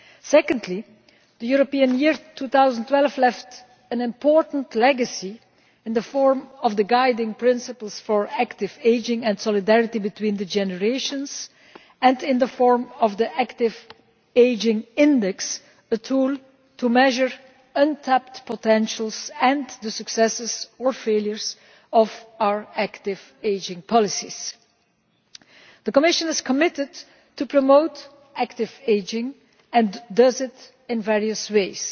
Secondly, the European Year 2012 left an important legacy in the form of the guiding principles for active ageing and solidarity between the generations, and in the form of the Active Ageing Index, a tool to measure untapped potential and the successes or failures of our active ageing policies. The Commission is committed to promoting active ageing, and it does this in various ways.